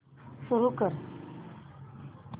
सुरू कर